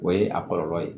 O ye a kɔlɔlɔ ye